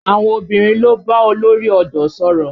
Àwọn obìnrin lọ bá olórí ọ̀dọ́ sọ̀rọ̀